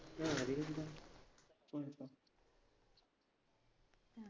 ആ അതിനെന്താ